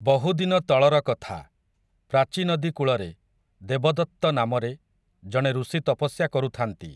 ବହୁଦିନ ତଳର କଥା, ପ୍ରାଚୀ ନଦୀ କୂଳରେ, ଦେବଦତ୍ତ ନାମରେ, ଜଣେ ଋଷି ତପସ୍ୟା କରୁଥାନ୍ତି ।